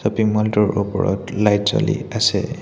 টোৰ ওপৰত লাইট জ্বলি আছে।